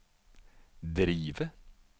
drive